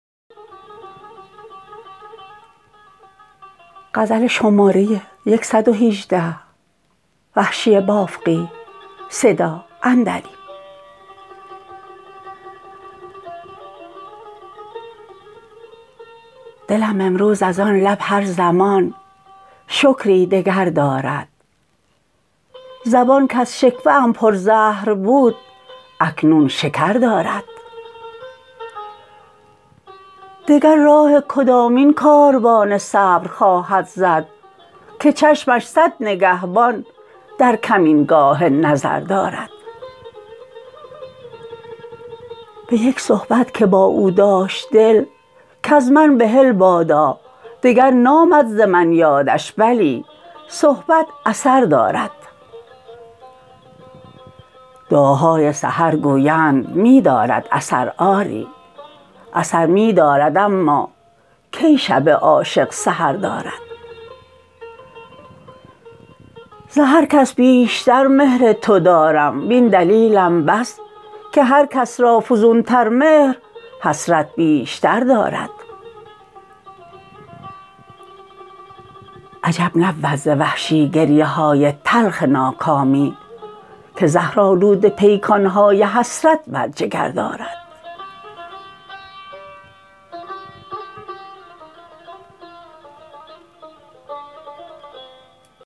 دلم امروز از آن لب هر زمان شکری دگر دارد زبان کز شکوه ام پر زهر بود اکنون شکر دارد دگر راه کدامین کاروان صبر خواهد زد که چشمش صد نگهبان در کمینگاه نظر دارد به یک صحبت که با او داشت دل کز من بحل بادا دگر نامد ز من یادش بلی صحبت اثر دارد دعاهای سحر گویند می دارد اثر آری اثر می دارد اما کی شب عاشق سحر دارد ز هر کس بیشتر مهر تو دارم وین دلیلم بس که هر کس را فزون تر مهر حسرت بیشتر دارد عجب نبود ز وحشی گریه های تلخ ناکامی که زهرآلوده پیکان های حسرت بر جگر دارد